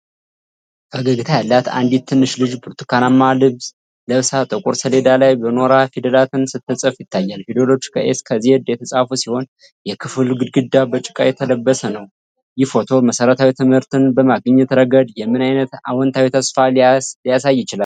ፈገግታ ያላት አንዲት ትንሽ ልጅ ብርቱካናማ ልብስ ለብሳ ጥቁር ሰሌዳ ላይ በኖራ ፊደላትን ስትጽፍ ይታያል። ፊደሎቹ ከA እስከ Z የተጻፉ ሲሆን፣ የክፍሉ ግድግዳ በጭቃ የተለሰነ ነው። ይህ ፎቶ መሰረታዊ ትምህርትን በማግኘት ረገድ የምን ዓይነት አዎንታዊ ተስፋ ሊያሳይ ይችላል?